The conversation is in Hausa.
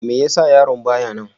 Me ya sa yaron ba ya nan?